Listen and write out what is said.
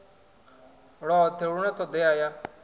lwothe hu na todea ya